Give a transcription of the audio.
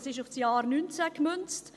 – Das ist auf das Jahr 2019 gemünzt.